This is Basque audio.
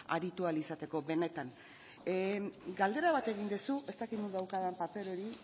aritu ahal izateko benetan galdera bat egin duzu ez dakit non daukadan paper hori